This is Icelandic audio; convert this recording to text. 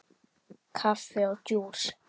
Kaffi og djús.